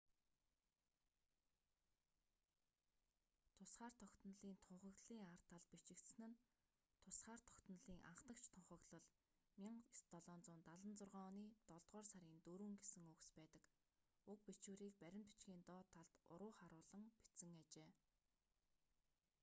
тусгаар тогтнолын тунхаглалын ар талд бичигдсэн нь тусгаар тогтнолын анхдагч тунхаглал 1776 оны долдугаар сарын 4 гэсэн үгс байдаг уг бичвэрийг баримт бичгийн доод талд урвуу харуулан бичсэн ажээ